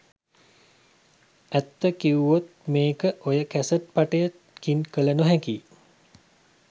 ඇත්ත කිව්වොත් මේක ඔය කැසට් පටයකින් කළ නොහැකියි.